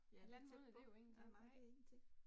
Ja, det tæt på. Ja, nej, det ingenting